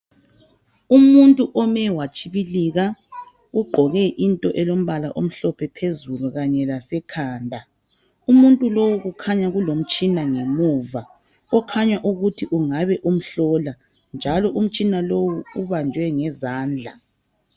Umuntu ome watshibilika ugqoke into elombala omhlophe phezulu kanye lasekhanda. Umuntu lowu kukhanya kulomtshina ngemuva okhanya ukuthi kungabe umhlola njalo umtshina lowu ubanjwe ngezandla.